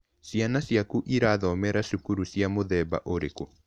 Ciana ciaku irathomera cukuru cia mũthemba ũrĩkũ?